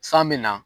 San bɛ na